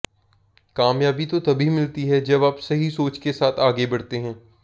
कामयाबी तो तभी मिलती है जब आप सही सोच के साथ आगे बढ़ते हैं